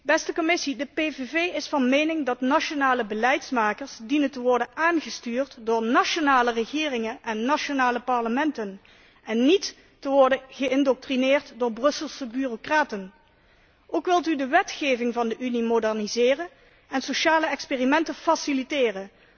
Beste Commissie, de PVV is van mening dat nationale beleidsmakers dienen te worden aangestuurd door nationale regeringen en nationale parlementen, en niet te worden geïndoctrineerd door Brusselse bureaucraten. Ook wilt u de wetgeving van de Unie moderniseren en sociale experimenten faciliteren.